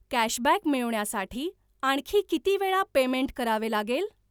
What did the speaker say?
cashback मिळवण्यासाठी आणखी किती वेळा पेमेंट करावे लागेल